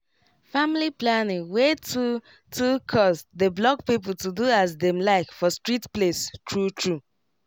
family planning wey too too cost dey block people to do as dem like for strict place true true